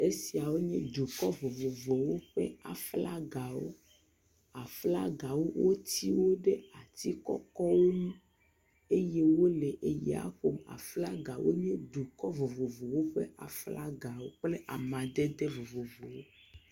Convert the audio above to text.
Esia nye dukɔ vovovowo ƒe flagawo, aflagawo, woti wo ɖe ati kɔkɔ wo ŋu eye wole ya ƒom. Flaga nye dukɔ vovovowo ƒe flagawo kple amadede vovovowo.